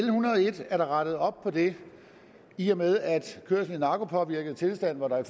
er der rettet op på det i og med at kørsel i narkopåvirket tilstand hvor der jo